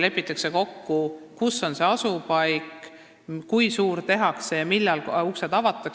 Lepitakse kokku, kus on selle asupaik, kui suur hoone tehakse ja millal uksed avatakse.